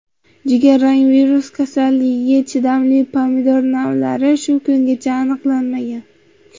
Jigarrang virus kasalligiga chidamli pomidor navlari shu kungacha aniqlanmagan.